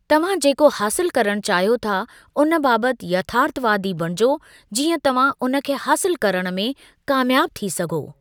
तव्हां जेको हासिलु करण चाहियो था उन बाबत यथार्थवादी बणिजो जीअं तव्हां उन खे हासिलु करणु में कामयाबु थी सघो।